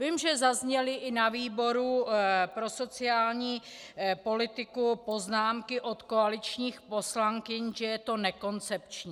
Vím, že zazněly i na výboru pro sociální politiku poznámky od koaličních poslankyň, že je to nekoncepční.